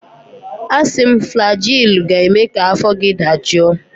Asị m, flajilụ ga-eme ka afọ gị dajụọ!